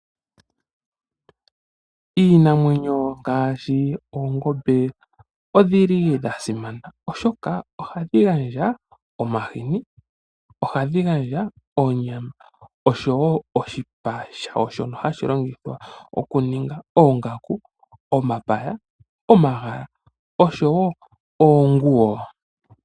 Iinamwenyo ngaashi oongombe, odhili dhasimana oshoka ohadhi gandja omahini, Ohadhi gandja oonyama osho woo oshipa shawo shono hashi longithwa okuninga oongaku, omapaya, omagala osho woo oonguwo.